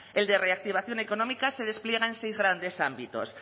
el de reactivación económica se despliega en seis grandes ámbitos